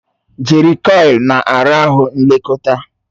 Jerịkọil na ara ahụ nlekọta.